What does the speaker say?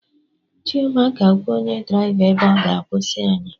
Chioma ga-agwa onye draịva ebe ọ ga-akwụsị anyị